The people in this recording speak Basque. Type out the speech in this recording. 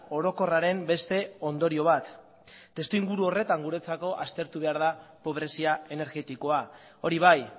orokorraren beste ondorio bat testuinguru horretan guretzako aztertu behar da pobrezia energetikoa hori bai